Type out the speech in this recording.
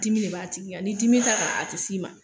Dimi de b'a tigi Kan ni dimi t'a kan, a te s'i ma.